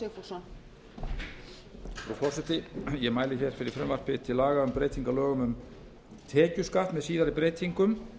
frú forseti ég mæli fyrir frumvarpi til laga um breytingu á lögum um tekjuskatt með síðari breytingum